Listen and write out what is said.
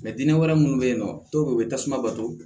dinɛ wɛrɛ munnu be yen nɔ dɔw be yen u be tasuma bato